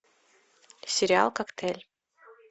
сериал коктейль